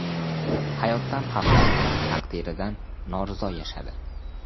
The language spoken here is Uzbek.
Hayotdan xafa, taqdiridan norizo yashadi.